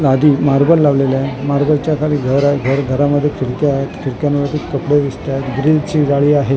लादी मार्बल लावलेले आहे मार्बलच्या खाली घर आहे घर घरामध्ये खिडक्या आहेत खिडक्यावरती कपडे दिसत आहेत ग्रीलची जाळी आहे .